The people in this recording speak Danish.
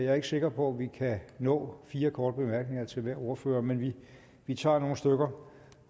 jeg er ikke sikker på vi kan nå fire korte bemærkninger til hver ordfører men vi tager nogle stykker